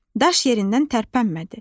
Daş yerindən tərpənmədi.